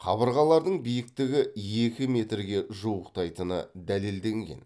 қабырғалардың биіктігі екі метрге жуықтайтыны дәлелденген